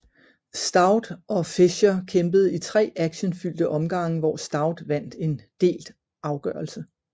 Stout og Fisher kæmpede i tre actionfyldte omgange hvor Stout vandt en delt afgørelse